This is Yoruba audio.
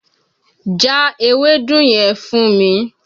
Já ewédú yẹn fún mi!